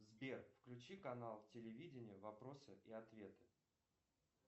сбер включи канал телевидения вопросы и ответы